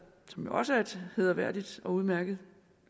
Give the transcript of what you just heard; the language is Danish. som jo også er et hæderværdigt og udmærket